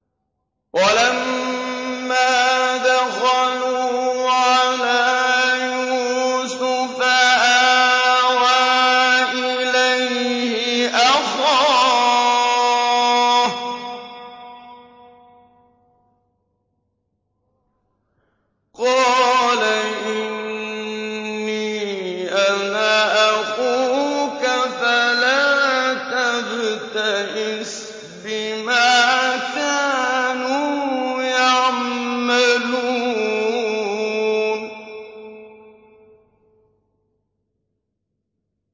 وَلَمَّا دَخَلُوا عَلَىٰ يُوسُفَ آوَىٰ إِلَيْهِ أَخَاهُ ۖ قَالَ إِنِّي أَنَا أَخُوكَ فَلَا تَبْتَئِسْ بِمَا كَانُوا يَعْمَلُونَ